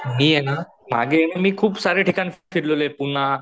मी ये ना मागे मी खूप सारे ठिकाण फिरलेलोये पुना,